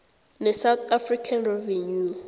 nesouth african revenue